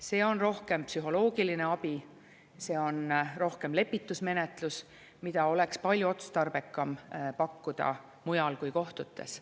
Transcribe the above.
See on rohkem psühholoogiline abi, see on rohkem lepitusmenetlus, mida oleks palju otstarbekam pakkuda mujal kui kohtutes.